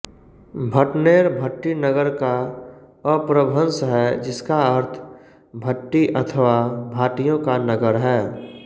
भटनेर भट्टीनगर का अपभ्रंश है जिसका अर्थ भट्टी अथवा भाटियों का नगर है